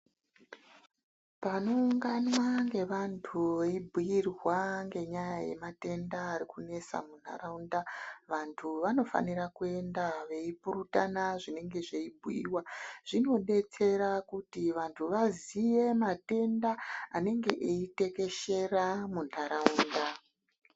Panoungana nevanthu veibhuirwa ngenyaya yematenda ari kunesa muntharaunda vanthu vanofanira kuenda veipurutana zvinenge zveibhuiwa zvinodetsera kuti vanthu vaziye matenda anenge eitekeshera muntharaunda.